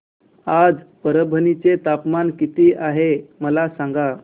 आज परभणी चे तापमान किती आहे मला सांगा